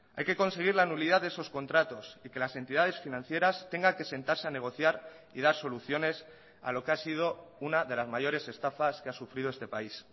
hay que conseguir la nulidad de esos contratos y que las entidades financieras tengan que sentarse a negociar y dar soluciones a lo que ha sido una de las mayores estafas que ha sufrido este país